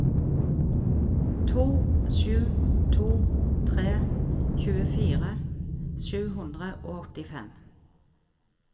to sju to tre tjuefire sju hundre og åttifem